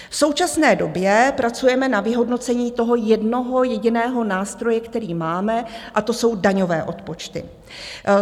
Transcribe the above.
V současné době pracujeme na vyhodnocení toho jednoho jediného nástroje, který máme, a to jsou daňové odpočty.